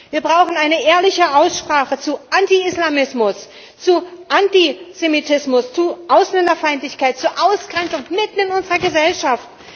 Wir brauchen eine ehrliche Aussprache zu Antiislamismus, zu Antisemitismus, zu Ausländerfeindlichkeit, zu Ausgrenzung mitten in unserer Gesellschaft.